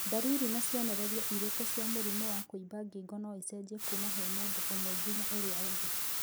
Ndariri na cionereria irĩkũ cia mũrimũ wa kũimba ngingo noicenjie kuma he mũndũ ũmwe nginya ũrĩa ũngĩ